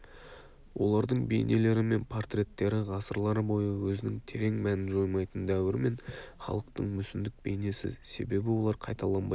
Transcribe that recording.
олардың бейнелері мен портреттері ғасырлар бойы өзінің терең мәнін жоймайтын дәуір мен халықтың мүсіндік бейнесі себебі олар қайталанбайтын